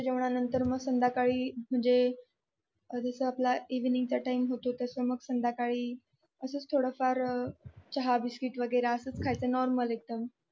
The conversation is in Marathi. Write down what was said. जेवणानंतर मग संध्याकाळी म्हणजे जस आपला इव्हिनिंगचा टाइम होतो तस संध्याकळै चहा बिस्कीट खायचं नॉर्मल एकदम